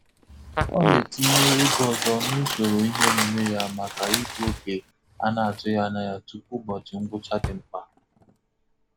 Ọ na-etinye oge ọzọ na usoro ihe omume ya maka igbu oge a na-atụghị anya ya tupu ụbọchị ngwụcha dị mkpa.